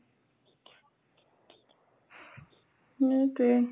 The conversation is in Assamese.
সেইটোয়ে